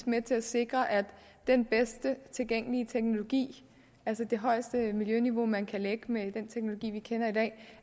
med til at sikre at den bedste tilgængelige teknologi altså det højeste miljøniveau man kan lægge med den teknologi vi kender i dag